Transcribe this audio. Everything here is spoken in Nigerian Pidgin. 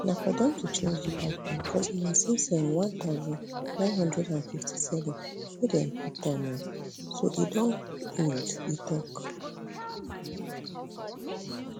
na for dem to change di pipeline cos na since um one thousand, nine hundred and fifty-seven wey dem put am um so e don old e tok